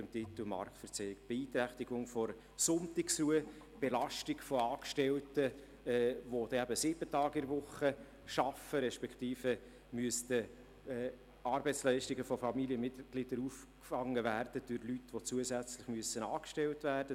Weiter wurde genannt: Beeinträchtigung der Sonntagsruhe, Belastung der Angestellten, die sieben Tage pro Woche arbeiten respektive zusätzliche Kosten, weil Leute angestellt werden müssten, die die Arbeitsleistungen von Familienmitglieder auffangen.